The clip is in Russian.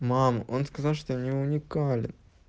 мам он сказал что не уникален